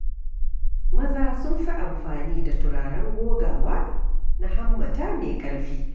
Maza sun fi amfani da turaren gogawa na hammata mai ƙarfi.